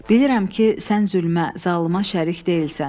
Bilirəm ki, sən zülmə, zalıma şərik deyilsən.